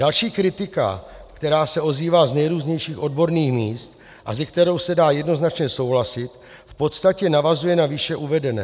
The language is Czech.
Další kritika, která se ozývá z nejrůznějších odborných míst a se kterou se dá jednoznačně souhlasit, v podstatě navazuje na výše uvedené.